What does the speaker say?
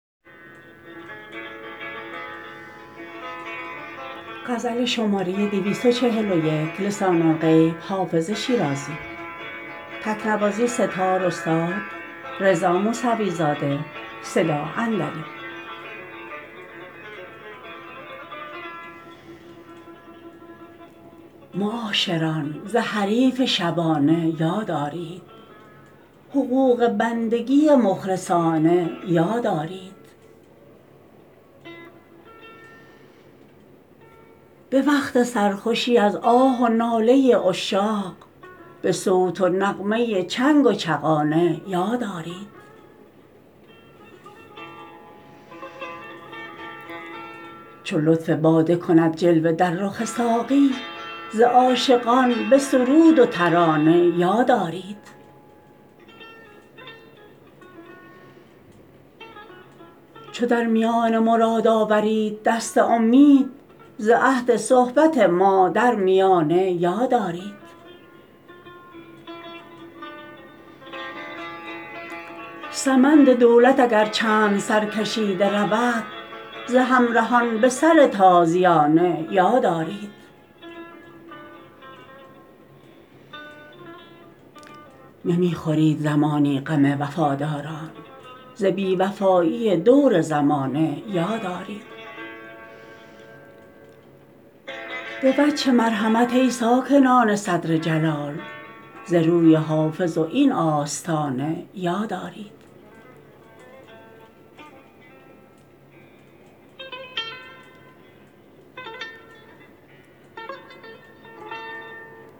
معاشران ز حریف شبانه یاد آرید حقوق بندگی مخلصانه یاد آرید به وقت سرخوشی از آه و ناله عشاق به صوت و نغمه چنگ و چغانه یاد آرید چو لطف باده کند جلوه در رخ ساقی ز عاشقان به سرود و ترانه یاد آرید چو در میان مراد آورید دست امید ز عهد صحبت ما در میانه یاد آرید سمند دولت اگر چند سرکشیده رود ز همرهان به سر تازیانه یاد آرید نمی خورید زمانی غم وفاداران ز بی وفایی دور زمانه یاد آرید به وجه مرحمت ای ساکنان صدر جلال ز روی حافظ و این آستانه یاد آرید